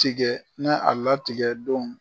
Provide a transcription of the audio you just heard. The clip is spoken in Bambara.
tigɛ ne a latigɛ don